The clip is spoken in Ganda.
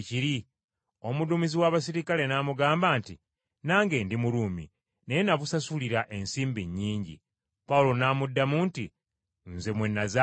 Omuduumizi w’abaserikale n’amugamba nti, “Nange ndi Muruumi, naye nabusasulira ensimbi nnyingi.” Pawulo n’amuddamu nti, “Nze mwe nazaalirwa!”